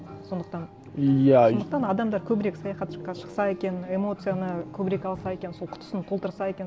сондықтан иә сондықтан адамдар көбірек шықса екен эмоцияны көбірек алса екен сол құтысын толтырса екен